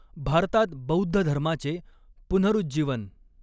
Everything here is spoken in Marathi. भारतात बौद्ध धर्माचे पुनःरूजीवन